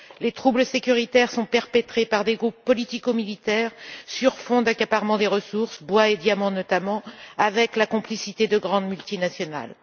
Les troubles sécuritaires sont perpétrés par des groupes politico militaires, sur fond d'accaparement des ressources bois et diamants, notamment avec la complicité de grandes multinationales.